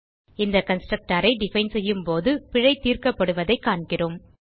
இந்த constructorஐ டிஃபைன் செய்யும்போது பிழை தீர்க்கப்படுவதைக் காண்கிறோம்